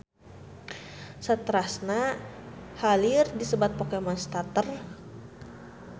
Saterasna ha lieu disebat Pokemon starter.